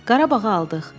Qarabağı aldıq.